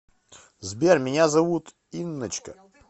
сбер меня зовут инночка